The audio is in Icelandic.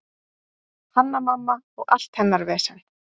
Hanna-Mamma og allt hennar vesen.